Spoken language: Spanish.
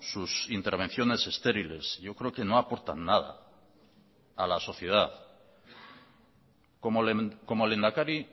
sus intervenciones estériles yo creo que no aportan nada a la sociedad como lehendakari